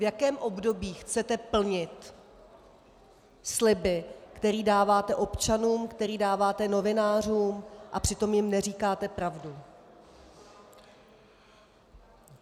V jakém období chcete plnit sliby, které dáváte občanům, které dáváte novinářům, a přitom jim neříkáte pravdu?